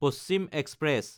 Paschim express